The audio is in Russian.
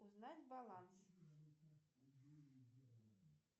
узнать баланс